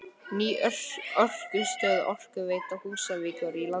Ný orkustöð Orkuveitu Húsavíkur í landi